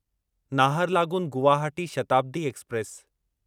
Naharlagun Guwahati Shatabdi express